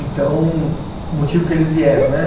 Então, o motivo que eles vieram, né?